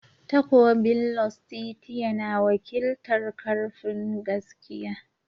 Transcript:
Takobin Lustitia na wakiltar "Karfin"gaskiya.